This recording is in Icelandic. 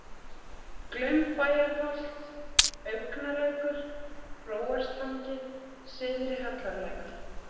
Glaumbæjarholt, Augn(a)lækur, Hróarstangi, Syðri Hallarlækur